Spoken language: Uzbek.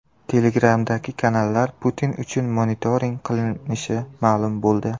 Telegram’dagi kanallar Putin uchun monitoring qilinishi ma’lum bo‘ldi.